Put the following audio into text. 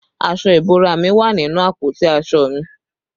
Aṣọ ìbora mi wà nínú àpótí aṣọ mi